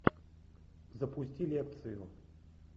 запусти лекцию